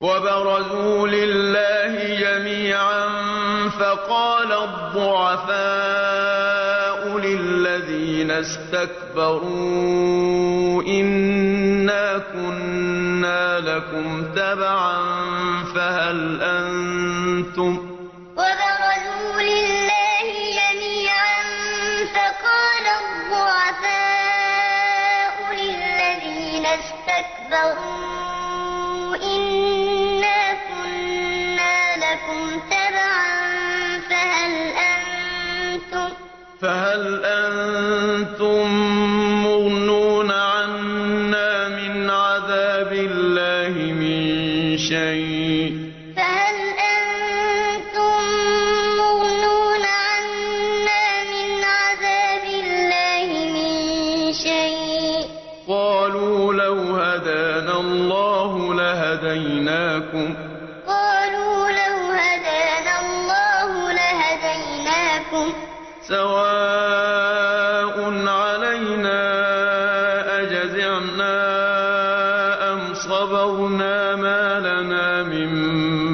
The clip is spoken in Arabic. وَبَرَزُوا لِلَّهِ جَمِيعًا فَقَالَ الضُّعَفَاءُ لِلَّذِينَ اسْتَكْبَرُوا إِنَّا كُنَّا لَكُمْ تَبَعًا فَهَلْ أَنتُم مُّغْنُونَ عَنَّا مِنْ عَذَابِ اللَّهِ مِن شَيْءٍ ۚ قَالُوا لَوْ هَدَانَا اللَّهُ لَهَدَيْنَاكُمْ ۖ سَوَاءٌ عَلَيْنَا أَجَزِعْنَا أَمْ صَبَرْنَا مَا لَنَا مِن